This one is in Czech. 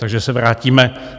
Takže se vrátíme.